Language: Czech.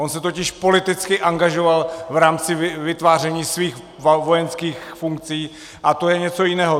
On se totiž politicky angažoval v rámci vytváření svých vojenských funkcí a to je něco jiného.